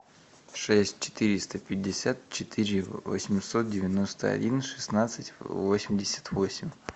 шесть четыреста пятьдесят четыре восемьсот девяносто один шестнадцать восемьдесят восемь